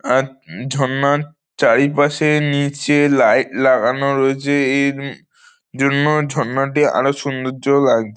আর ওম ঝরনার চারিপাশে নিচে লাইট লাগানো রয়েছে এই ওম জন্য ঝরনাটি আরো সৌন্দর্য লাগ--